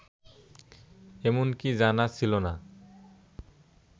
এমনটি জানা ছিল না